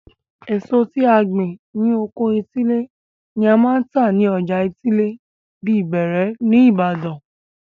Èso tí a gbìn ní oko etílé ni a máa ń tà ni ọjà etílé bíi bẹẹrẹ ní ìbàdàn.